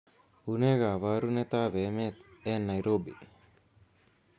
unee koorunet ab emet en Nairobi